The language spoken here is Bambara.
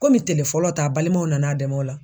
Komi tele fɔlɔ ta a balimaw nan'a dɛmɛ o la.